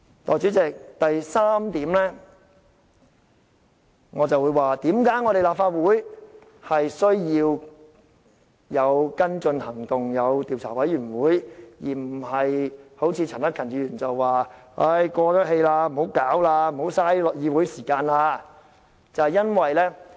代理主席，第三，我會指出為何立法會需要有跟進行動，成立調查委員會，而不是好像陳克勤議員所說事件已過氣，不要浪費議會時間處理這件事。